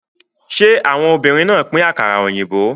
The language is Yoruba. Ṣé àwọn obìnrin náà pín àkàrà òyìnbó?